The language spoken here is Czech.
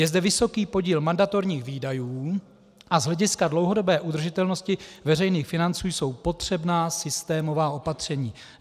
Je zde vysoký podíl mandatorních výdajů a z hlediska dlouhodobé udržitelnosti veřejných financí jsou potřebná systémová opatření.